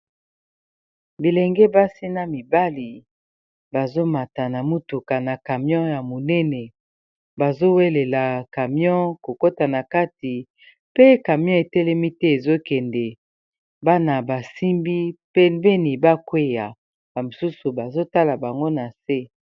Bilenge basi na mibali bazomata na mutuka na camion ya monene bazowelela camion kokota na kati pe camion etelemi te ezokende bana basimbi pembeni bakweya ba mosusu bazotala bango na se.